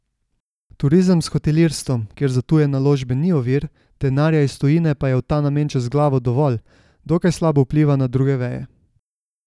Turizem s hotelirstvom, kjer za tuje naložbe ni ovir, denarja iz tujine pa je v ta namen čez glavo dovolj, dokaj slabo vpliva na druge veje.